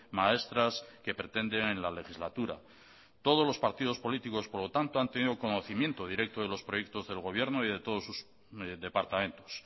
maestras que pretenden en la legislatura todos los partidos políticos por lo tanto han tenido conocimiento directo de los proyectos del gobierno y de todos sus departamentos